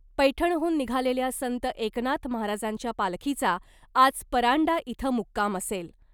पैठणहून निघालेल्या संत एकनाथ महाराजांच्या पालखीचा आज परांडा इथं मुक्काम असेल .